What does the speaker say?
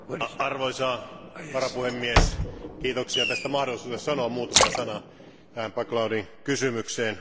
Arvoisa varapuhemies, kiitoksia tästä mahdollisuudesta sanoa muutama sana tähän back loading kysymykseen.